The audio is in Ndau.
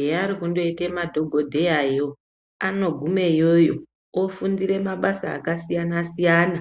Eya rekundoita madhokodheya yo ando gume iyoyo ofundire mabasa aka siyana siyana